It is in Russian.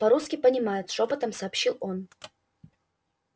по русски понимают шёпотом сообщил он